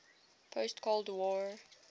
post cold war